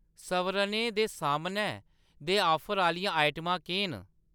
सवरनें दे समानै दे ऑफर आह्‌‌‌लियां आइटमां केह् न ?